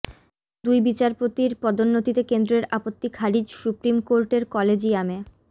দুই বিচারপতির পদোন্নতিতে কেন্দ্রের আপত্তি খারিজ সুপ্রিম কোর্টের কলেজিয়ামে